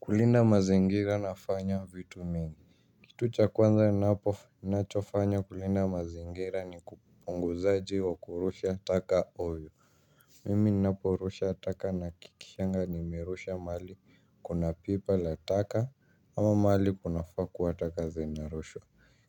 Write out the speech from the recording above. Kulinda mazingira nafanya vitu mingi. Kitu cha kwanza ninacho fanya kulinda mazingira ni kupunguza kurusha taka oyo. Mimi ninapo rusha taka nahakikishaga nimerusha mahali kuna pipa la taka ama mahali kunafaa kua taka zinarushwa